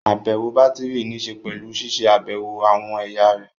Àbẹ̀wò bátìrì níṣe pẹ̀lú ṣiṣẹ́ àbẹ̀wò àwọn ẹ̀yà rẹ̀